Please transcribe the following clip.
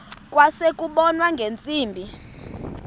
kwase kubonwa ngeentsimbi